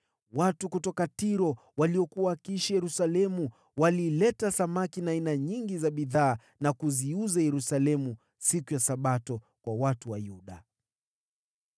Watu kutoka Tiro waliokuwa wakiishi Yerusalemu walileta samaki na aina nyingi za bidhaa na kuziuza Yerusalemu siku ya Sabato kwa watu wa Yuda.